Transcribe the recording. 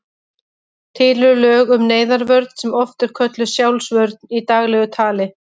Til eru lög um neyðarvörn sem oft er kölluð sjálfsvörn í daglegu tali.